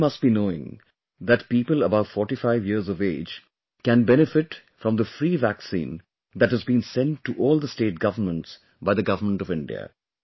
You all must be knowing that people above 45 years of age can benefit from the free vaccine that has been sent to all state governments by the government of India